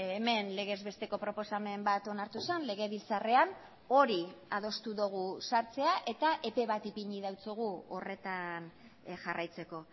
hemen legez besteko proposamen bat onartu zen legebiltzarrean hori adostu dugu sartzea eta epe bat ipini diogu horretan jarraitzeko